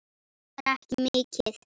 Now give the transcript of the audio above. Kostar ekki mikið.